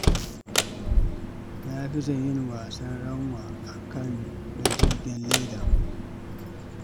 Na fi son yin wasan ranwa a kan na jirgin leda.